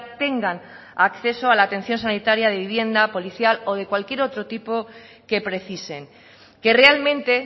tengan acceso a la atención sanitaria de vivienda policial o de cualquier otro tipo que precisen que realmente